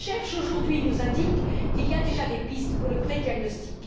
La recherche aujourd'hui nous indique qu'il y a déjà des pistes pour le prédiagnostic.